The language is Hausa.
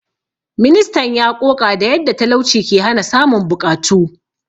Ministan ya ƙoƙa da yadda talauci ke hana samun buƙatu.